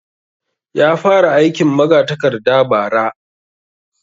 Ya fara aikin magatakarda bara